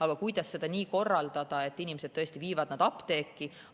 Aga kuidas seda nii korraldada, et inimesed tõesti viivad need apteeki?